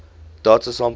data samples come